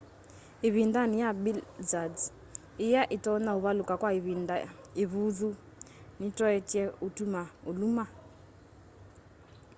ivindani ya blizzards iya itonya uvaluka kwa ivinda ivuthu nitoetye utuma uluma